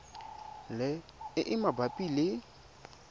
le e e mabapi le